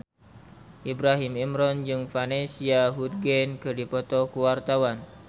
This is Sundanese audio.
Ibrahim Imran jeung Vanessa Hudgens keur dipoto ku wartawan